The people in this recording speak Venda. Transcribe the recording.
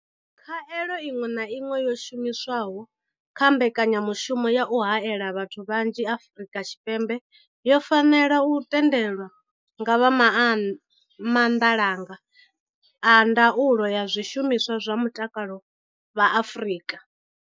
Khaelo iṅwe na iṅwe yo shumiswaho kha mbekanyamushumo ya u haela vhathu vhanzhi Afrika Tshipembe yo fanela u tendelwa nga vha maanḓalanga a ndaulo ya zwishumiswa zwa mutakalo vha Afrika.